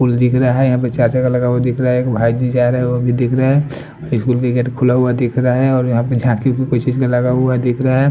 कुल दिख रहा है यहाँ पे चाचा का लगा हुआ दिख रहा है एक भाई जी जा रहे है वो भी दिख रहा है खुला हुआ दिख रहा है और यहाँ पे झाकी भी कोई चीज का लगा हुआ दिख रहा है।